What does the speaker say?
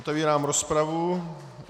Otevírám rozpravu.